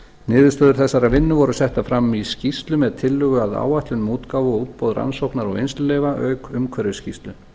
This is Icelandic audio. niðurstöður þessarar vinnu voru settar fram í skýrslu með tillögu að áætlun um útgáfu og útboð rannsókna og eins leyfa auk umhverfisskýrslu